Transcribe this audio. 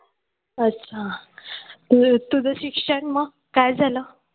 अच्छा तुझं शिक्षण मग काय झालं?